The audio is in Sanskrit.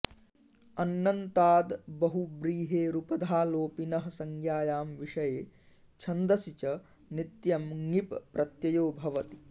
अन्नन्ताद् बहुव्रीहेरुपधालोपिनः संज्ञायां विषये छन्दसि च नित्यं ङीप् प्रत्ययो भवति